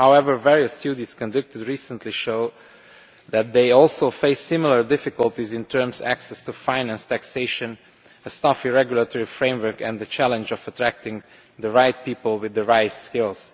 However, various studies conducted recently show that they also face similar difficulties in terms of access to finance, taxation, a stifling regulatory framework, and the challenge of attracting the right people with the right skills.